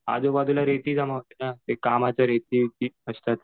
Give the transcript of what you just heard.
आजूबाजूला रेती जमा होते ना ती कामाची रेती